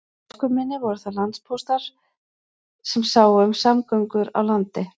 Í æsku minni voru það landpóstarnir sem sáu um samgöngur á landi.